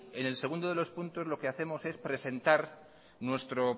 en el segundo de los puntos lo que hacemos es presentar nuestro